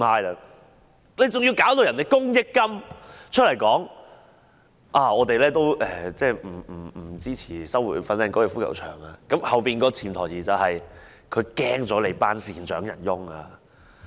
還要公益金出來說不支持收回粉嶺高爾夫球場，背後的潛台詞是怕了那些善長仁翁。